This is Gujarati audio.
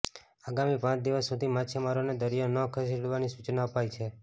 આાગામી પાંચ દિવસ સુધી માછીમારોને દરિયો ન ખેડવાની સૂચના અપાઈ છે